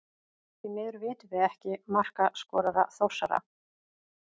Því miður vitum við ekki markaskorara Þórsara.